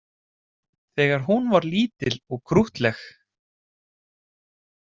Þegar hún var lítil og krúttleg